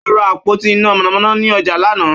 Ó ra àpótí iná mànàmáná ní ọjà lánàá.